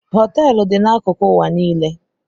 Hoteelu dị n'akụkụ ụwa niile.